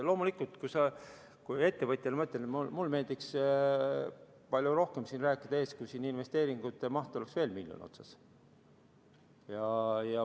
Loomulikult, ma ettevõtjana ütlen, et mulle meeldiks palju rohkem siin ees rääkida, kui investeeringute mahul oleks veel miljon otsas.